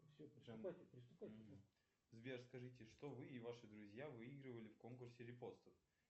сбер скажите что вы и ваши друзья выигрывали в конкурсе репостов